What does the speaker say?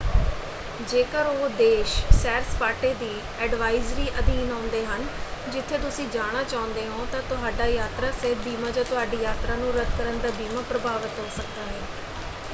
ਜੇਕਰ ਉਹ ਦੇਸ਼ ਸੈਰ-ਸਪਾਟੇ ਦੀ ਐਡਵਾਈਜ਼ਰੀ ਅਧੀਨ ਆਉਂਦੇ ਹਨ ਜਿੱਥੇ ਤੁਸੀਂ ਜਾਣਾ ਚਾਹੁੰਦੇ ਹੋ ਤਾਂ ਤੁਹਾਡਾ ਯਾਤਰਾ ਸਿਹਤ ਬੀਮਾ ਜਾਂ ਤੁਹਾਡੀ ਯਾਤਰਾ ਨੂੰ ਰੱਦ ਕਰਨ ਦਾ ਬੀਮਾ ਪ੍ਰਭਾਵਤ ਹੋ ਸਕਦਾ ਹੈ।